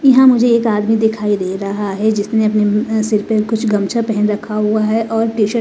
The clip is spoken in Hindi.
यहां मुझे एक आदमी दिखाई दे रहा है जिसने अपने सिर पे गमछा रखा हुआ है और टी शर्ट --